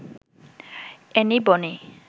Annie Boni